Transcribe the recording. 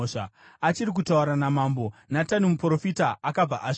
Achiri kutaura namambo, Natani muprofita akabva asvika.